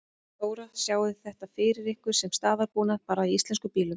Þóra: Sjáið þið þetta fyrir ykkur sem staðalbúnað bara í íslenskum bílum?